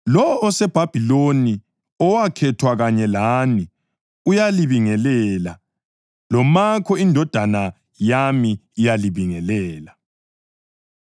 Lowo oseBhabhiloni, owakhethwa kanye lani, uyalibingelela, loMakho indodana yami iyalibingelela.